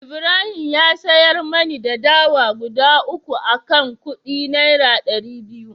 Ibrahim ya siyar mani dawa guda 3 akan kudi naira dari biyu